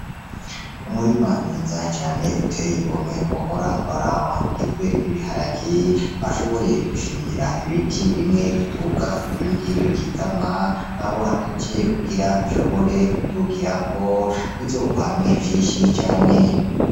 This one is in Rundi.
Umurima Mwiza Cane Uteye Igomwe Wohora Uraraba, Ugizwe N'Ibiharage, Bashoboye Gushingira Ibiti Bimwe Biduga, Ibindi Bikikama Babohanije Kugira Bishobore Kudugirako Bizokwame Vyinshi Cane.